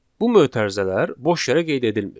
Bu mötərizələr boş yerə qeyd edilmir.